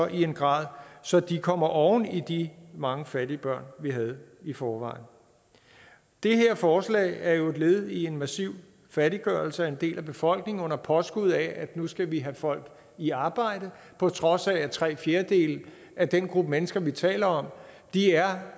i en grad så de kommer oven i de mange fattige børn vi havde i forvejen det her forslag er jo et led i en massiv fattiggørelse af en del af befolkningen under påskud af at nu skal vi have folk i arbejde på trods af at tre fjerdedele af den gruppe mennesker vi taler om er